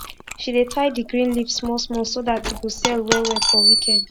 she dey tie d green leaf small small so dat e go sell well well for weekend